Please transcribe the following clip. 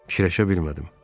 Fikirləşə bilmədim.